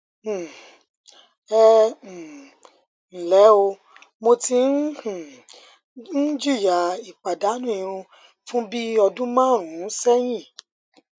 um ẹ um ǹlẹ o mo tí um ń jìyà ìpàdánù irun fún bí ọdún márùnún sẹyìn